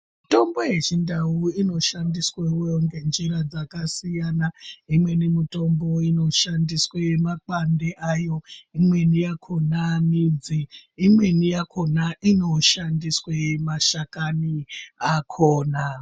Mitombo yeChindau inoshandiswewo ngenjira dzakasiyana. Imweni mitombo inoshandiswe makwande ayo, imweni yakona midzi. Imweni yakona inoshandiswe mashakani akona.